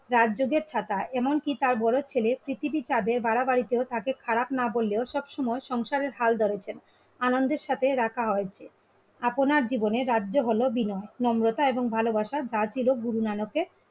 রাতযোগের খাতা এমনকি তার বড় ছেলে পৃথিবীর ভাড়া বাড়িতেও তাকে খারাপ না বললেও সবসময় সংসারের হাল ধরেছে. আনন্দের সাথে রাখা হয় আপনার জীবনে রাজ্য হলো বিনয়, নম্রতা এবং ভালোবাসা তার চির গুরু নানকের